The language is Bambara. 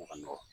O ka nɔgɔn